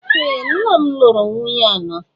Ee! Nna m lụrụ nwunye anọ.